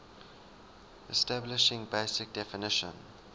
establishing basic definition